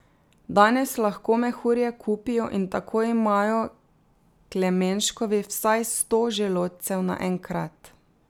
Danes lahko mehurje kupijo in tako imajo Klemenškovi vsaj sto želodcev naenkrat.